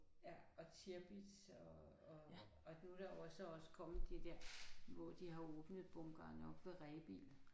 Ja og Tirpitz og og og nu er der jo også så også kommet det der hvor de har åbnet bunkeren oppe ved Rebild